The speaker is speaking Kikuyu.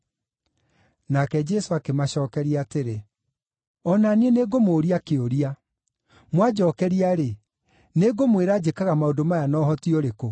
Nake Jesũ akĩmacookeria atĩrĩ, “O na niĩ nĩngũmũũria kĩũria. Mwanjookeria-rĩ, nĩngũmwĩra njĩkaga maũndũ maya na ũhoti ũrĩkũ.